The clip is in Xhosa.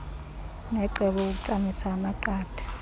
necebo ukutsamisa amanqatha